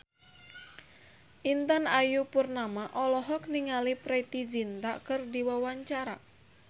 Intan Ayu Purnama olohok ningali Preity Zinta keur diwawancara